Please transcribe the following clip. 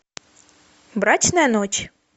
брачная ночь